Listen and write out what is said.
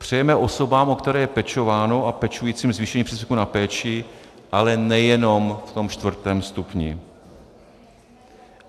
Přejeme osobám, o které je pečováno, a pečujícím zvýšení příspěvku na péči, ale nejenom v tom čtvrtém stupni.